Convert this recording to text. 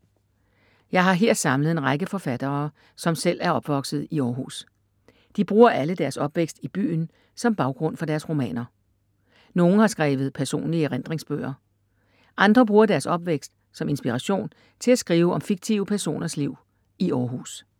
Jeg har her samlet en række forfattere, som selv er opvokset i Århus. De bruger alle deres opvækst i byen som baggrund for deres romaner. Nogle har skrevet personlige erindringsbøger. Andre bruger deres opvækst, som inspiration til at skrive om fiktive personers liv i Århus.